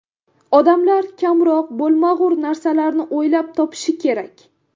Odamlar kamroq bo‘lmag‘ur narsalarni o‘ylab topishi kerak.